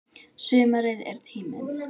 Sumarið er tíminn.